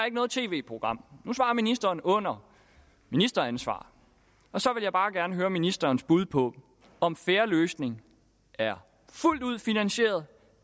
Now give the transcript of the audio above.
ikke noget tv program nu svarer ministeren under ministeransvar og så vil jeg bare gerne høre ministerens bud på om fair løsning er fuldt ud finansieret